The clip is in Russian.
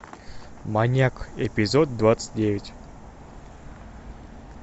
маньяк эпизод двадцать девять